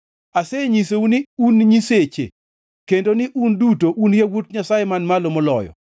“Asenyisou ni, ‘Un “nyiseche;” kendo ni un duto un yawuot Nyasaye Man Malo Moloyo.’